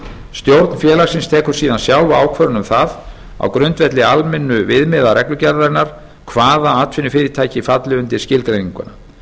stjórn félagsins tekur síðan sjálf ákvörðun um það á grundvelli almennu viðmiða reglugerðarinnar hvaða atvinnufyrirtæki falli undir skilgreininguna